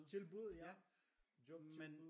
Tilbud ja job tilbud